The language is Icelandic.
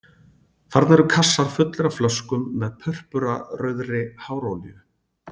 Þarna eru kassar fullir af flöskum með purpurarauðri hárolíu